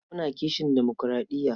Muna kishin demokuraɗiya.